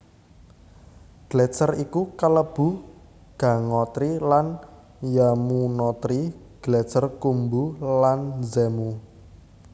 Gletser iku kelebu Gangotri lan Yamunotri Gletser Khumbu lan Zemu